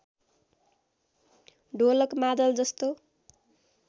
ढोलक मादल जस्तो